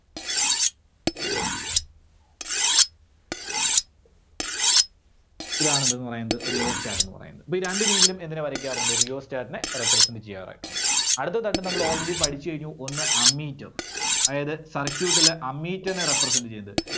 ഇതാണ് എന്തെന്ന് പറയുന്നത് Rheostat ന്ന് പറയുന്നത്. ഇത് രണ്ട് രീതിയിലും എങ്ങനെ വരക്കാറുണ്ട്? Rheostat നെ represent ചെയ്യാറായിട്ടുണ്ട്. അടുത്ത നമ്മള് already പഠിച്ച് കഴിഞ്ഞു. ഒന്ന് ammeter അതായത് circuit ലെ ammeter നെ represent ചെയ്യുന്നത്